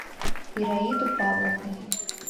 ираиду павловну